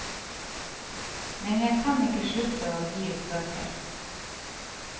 Men jeg kan ikke slutte å gi ut bøker.